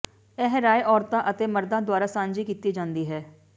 ਇਹ ਰਾਏ ਔਰਤਾਂ ਅਤੇ ਮਰਦਾਂ ਦੁਆਰਾ ਸਾਂਝੀ ਕੀਤੀ ਜਾਂਦੀ ਹੈ